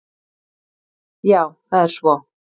Já það er svo.